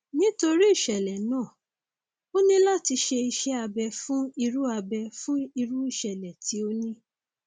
nítorí ìṣẹlẹ náà ó ní láti ṣe iṣẹ abẹ fún irú abẹ fún irú ìṣẹlẹ tí o ní